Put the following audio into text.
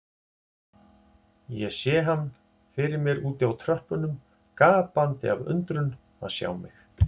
Ég sá hann fyrir mér úti á tröppunum, gapandi af undrun að sjá mig.